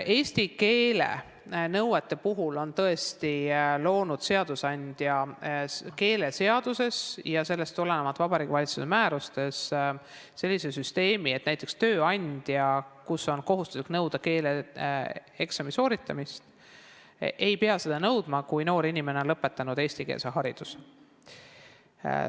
Eesti keele oskuse nõuete puhul on seadusandja tõesti loonud keeleseaduses ja sellest tulenevalt Vabariigi Valitsuse määrustes sellise süsteemi, et näiteks, kui töökohas on kohustuslik nõuda keeleeksami sooritamist, siis tööandja ei pea seda nõudma, kui noor inimene on saanud eestikeelse hariduse.